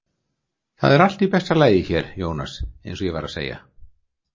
Það er allt í besta lagi hér, Jónas, eins og ég var að segja.